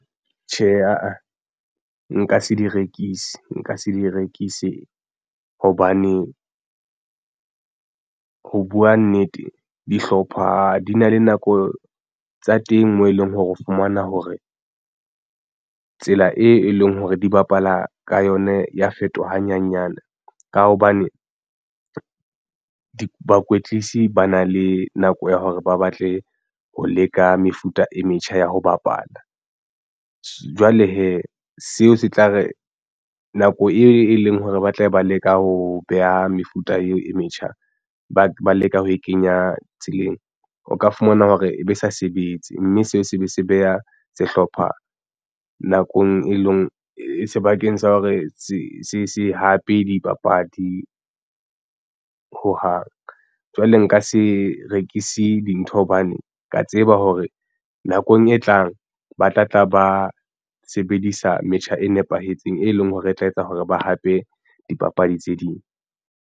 Tjhe, aa nka se di rekise nka se di rekise hobane ho buwa nnete dihlopha di na le nako tsa teng, moo e leng hore o fumana hore tsela e leng hore di bapala ka yona ya fetoha hanyanyane ka hobane di bakwetlisi ba na le nako ya hore ba batle ho leka mefuta e metjha ya ho bapala. Jwale hee seo se tla re nako e leng hore ba tlabe ba leka ho beha mefuta eo e metjha ba leka ho e kenya tseleng. O ka fumana hore ebe sa sebetse mme seo se be se beha sehlopha nakong e leng e sebakeng sa hore se se hape dipapadi hohang. Jwale nka se rekise dintho hobane ke ya tseba hore nakong e tlang ba tla tla ba sebedisa metjha e nepahetseng e leng hore e tla etsa hore ba hape dipapadi tse ding.